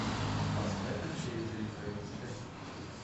поставь на телевизоре бст